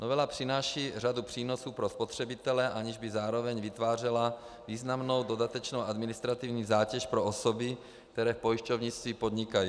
Novela přináší řadu přínosů pro spotřebitele, aniž by zároveň vytvářela významnou dodatečnou administrativní zátěž pro osoby, které v pojišťovnictví podnikají.